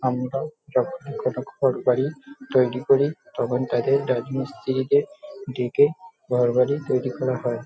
আমরাও যখনি কোনো ঘর বাড়ি তৈরি করি তখন তাদের রাজমিস্ত্রিকে দেকে ঘর বাড়ি তৈরি করা হয় ।